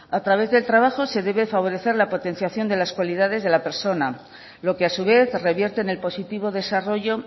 a través del trabajo se debe favorecer la potenciación de las cualidades de la persona lo que a su vez revierte en el positivo desarrollo